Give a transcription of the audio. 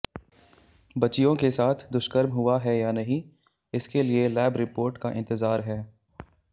बच्चियों के साथ दुष्कर्म हुआ है या नहीं इसके लिए लैब रिपोर्ट का इंतजार है